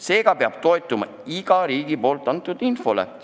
Seega peab toetuma riigi antavale infole.